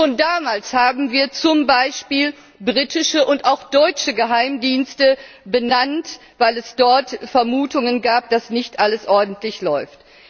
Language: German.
Schon damals haben wir zum Beispiel britische und auch deutsche Geheimdienste benannt, weil es dort Vermutungen gab, dass nicht alles ordentlich läuft.